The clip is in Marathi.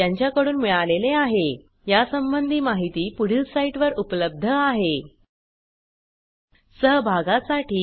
spoken hyphen tutorial dot org slash NMEICT hyphen intro या ट्यूटोरियल चे भाषांतर कविता साळवे यांनी केले असून मी रंजना भांबाळे आपला निरोप घेते